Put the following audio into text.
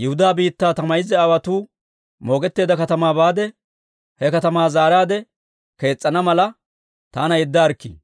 Yihudaa biittaa, ta mayza aawotuu moogetteedda katamaa baade, he katamaa zaaraadde kees's'ana mala, taana yeddaarikkii».